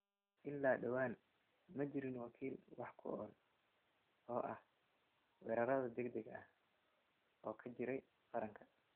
Ilaa dhawaan, ma jirin wakiil wax ku ool u ah weerarrada degdega ah oo ka jiray qaranka.